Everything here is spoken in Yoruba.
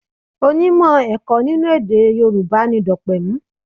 Onímọ̀ ẹ̀kọ́ nínú èdè Yorùbá ni Dopemu.